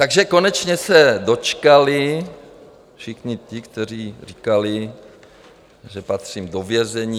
Takže konečně se dočkali všichni ti, kteří říkali, že patřím do vězení.